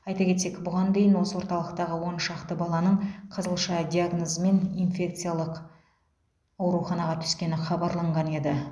айта кетсек бұған дейін осы орталықтағы он шақты баланың қызылша диагнозымен инфекциялық ауруханаға түскені хабарланған еді